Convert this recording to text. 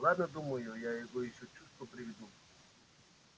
ладно думаю я его ещё в чувство приведу